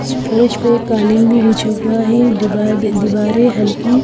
स्प्लीच पे कालीन भी बिछा हुआ है। डीवा दिवारे हल्की--